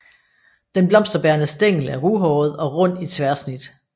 Den blomsterbærende stængel er ruhåret og rund i tværsnit